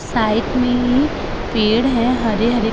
side में ही पेड़ हैं हरे-हरे क --